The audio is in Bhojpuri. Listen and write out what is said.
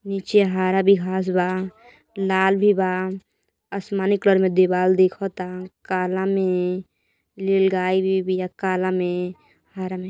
नीचे हरा बी घाँस बा लाल भी बा आसमानी कलर में दीवार दिखत ता काला में लील गाय भी बिया काला में हरा में।